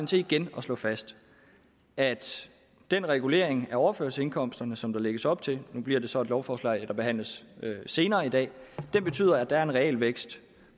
til igen at slå fast at den regulering af overførselsindkomsterne som der lægges op til nu bliver det så et lovforslag der behandles senere i dag betyder at der er en realvækst